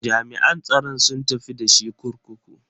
Jami'an tsaron sun tafi da shi kurkuku.